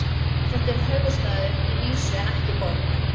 Þetta er höfuðstaður að vísu en ekki borg.